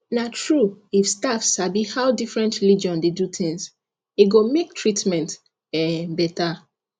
na true if staff sabi how different religion dey do things e go make treatment um better